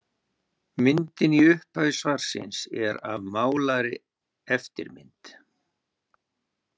Myndin í upphafi svarsins er af málaðri eftirmynd.